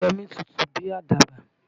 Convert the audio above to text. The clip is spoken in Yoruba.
Yemí tutù bí àdàbà.